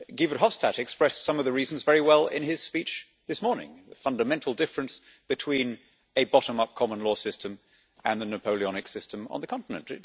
Guy Verhofstadt expressed some of the reasons very well in his speech this morning the fundamental difference between a bottom up common law system and the Napoleonic system on the continent.